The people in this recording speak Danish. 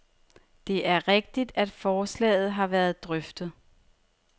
Det er rigtigt, at forslaget har været drøftet.